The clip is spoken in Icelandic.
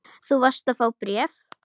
Þú varst að fá bréf.